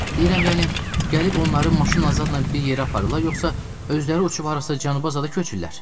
Deyirəm, yəni gəlib onları maşın azadla bir yerə aparırlar, yoxsa özləri uçub harasa cənuba azadə köçürlər?